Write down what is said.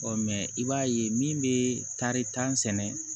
mɛ i b'a ye min bɛ taari tan sɛnɛ